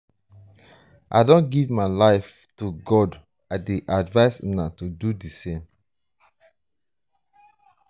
i don give my life to god i dey advice una to do the same